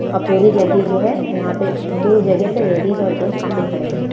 ओर पूरी जगह जो है वहां पे दूर जगह पे लेडिस और जेन्ट्स काफी खड़े हुए हैं ।